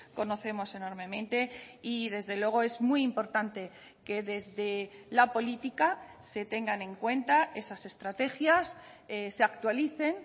conocemos enormemente y desde luego es muy importante que desde la política se tengan en cuenta esas estrategias se actualicen